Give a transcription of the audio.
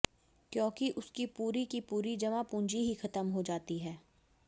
क्योंकि उसकी पूरी की पूरी जमा पूंजी ही खत्म हो जाती है